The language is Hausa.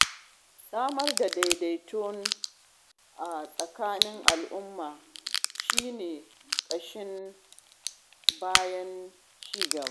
Samar da daidaito a tsakanin al'umma shi ne ƙashin bayan ci gaba.